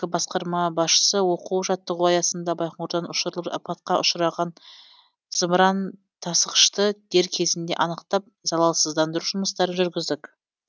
басқарма басшысы оқу жаттығу аясында байқоңырдан ұшырылып апатқа ұшыраған зымыран тасығышты дер кезінде анықтап залалсыздандыру жұмыстарын жүргіздік